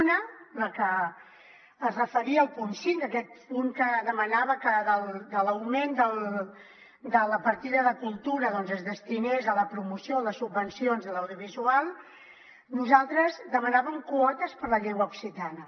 una la que es referia al punt cinc aquest punt que demanava que l’augment de la partida de cultura es destinés a la promoció a les subvencions de l’audiovisual nosaltres demanàvem quotes per a la llengua occitana